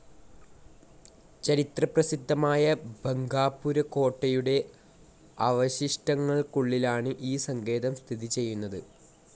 ചരിത്രപ്രസിദ്ധമായ ബംഗാപുര കോട്ടയുടെ അവശിഷ്ടങ്ങൾക്കുള്ളിലാണ് ഈ സങ്കേതം സ്ഥിതിചെയ്യുന്നത്.